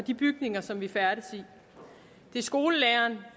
de bygninger som vi færdes i det er skolelæreren